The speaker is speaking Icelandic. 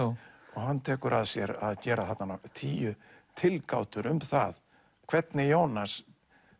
og hann tekur að sér að gera þarna tíu tilgátur um það hvernig Jónas